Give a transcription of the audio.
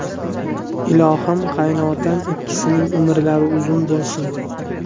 Ilohim, qaynotam ikkisining umrlari uzun bo‘lsin.